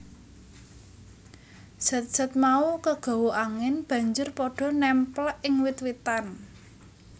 Zat zat mau kagawa angin banjur pada némplèk ing wit witan